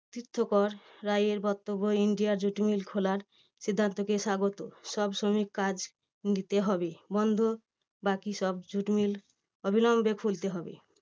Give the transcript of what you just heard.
তীর্থকর রায়ের বক্তব্য India jute mill খোলার সিদ্ধান্তকে স্বাগত। সব শ্রমিক কাজ দিতে হবে বন্ধ বাকি সব jute mill অবিলম্বে খুলতে হবে।